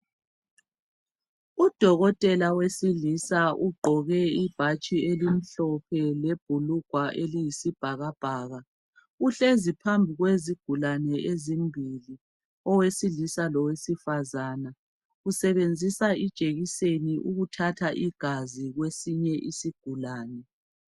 Udokotela wesilisa ugqoke ibhatshi elimhlophe, lebhulugwa eliyisibhakabhaka. Uhlezi phambi kwezigulane ezimbili. Owesiisa, lowesifazana. Usebenzisa ijekiseni, ukuthatha igazi kwesinye isigulane.